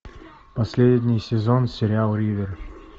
последний сезон сериала ривер